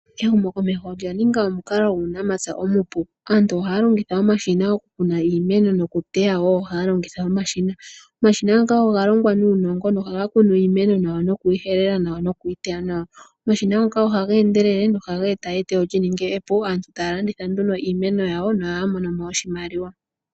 Ehumo komeho olya ninga omukalo guunamapya omupu. Aantu ohaya longitha omashina gokukuna iimeno nokuteya wo ohaya longitha omashina. Omashina ngoka oga longwa nuunongo nohaga kunu iimeno nawa nokuyi helelela nawa nokuyi teya nawa. Omashina ngoka ohaga endelele nohaga e ta eteyo li ninge epu. Aaantu taya landitha nduno iimeno yawo nohaya mono oshimaliwa.